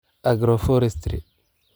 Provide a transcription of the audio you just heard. Agroforestry